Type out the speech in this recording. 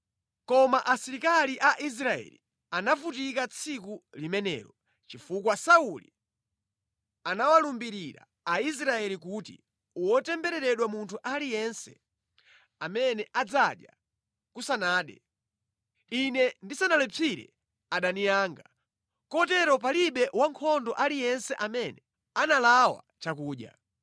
Koma asilikali a Israeli anavutika tsiku limenelo, chifukwa Sauli anawalumbirira Aisraeli kuti, “Wotembereredwa munthu aliyense amene adzadya kusanade, ine ndisanalipsire adani anga!” Kotero palibe wankhondo aliyense amene analawa chakudya.